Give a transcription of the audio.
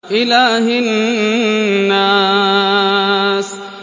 إِلَٰهِ النَّاسِ